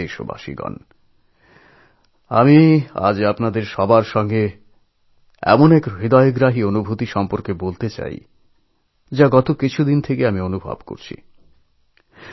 আমার প্রিয় দেশবাসী আমি আজ আপনাদের সকলের সঙ্গে এক হৃদয়স্পর্শী অনুভবের কথা জানাব কথাটা গত কয়েকদিন ধরে আমি নিজে উপলব্ধি করেছি